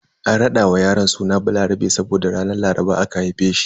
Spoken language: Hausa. An rada wa yaron suna Balarabe saboda a ranar Laraba aka haife shi.